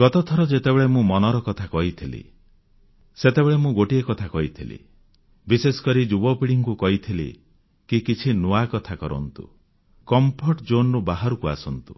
ଗତଥର ଯେତେବେଳେ ମୁଁ ମନର କଥା କହିଥିଲି ସେତେବେଳେ ମୁଁ ଗୋଟିଏ କଥା କହିଥିଲି ବିଶେଷକରି ଯୁବପିଢ଼ୀଙ୍କୁ କହିଥିଲି କି କିଛି ନୂଆକଥା କରନ୍ତୁ କମ୍ଫର୍ଟ Zoneରୁ ବାହାରକୁ ଆସନ୍ତୁ